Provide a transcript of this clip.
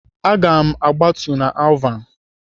Aga m agbatu na Alvan.